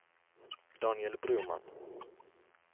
Daniel Broman